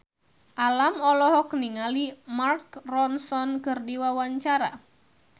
Alam olohok ningali Mark Ronson keur diwawancara